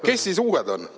"Kes siis uued on?